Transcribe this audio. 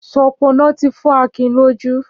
Ṣọpọnọ ti fọ Akin lójù